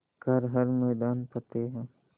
कर हर मैदान फ़तेह